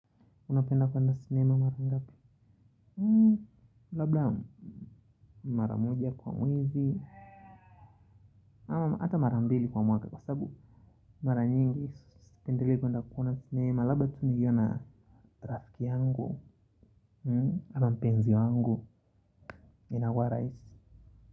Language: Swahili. Unapenda kuenda sinema mara ngapi? Hmmm. Labda mara moja kwa mwezi, ama hata mara mbili kwa mwaka. Kwa sababu mara nyingi sipendelei kwenda kuona sinema laba tu nikiwa na rafiki yangu ama mpenzi wangu inakuwa rahisi.